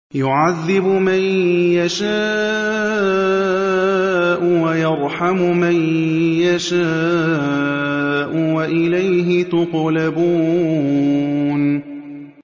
يُعَذِّبُ مَن يَشَاءُ وَيَرْحَمُ مَن يَشَاءُ ۖ وَإِلَيْهِ تُقْلَبُونَ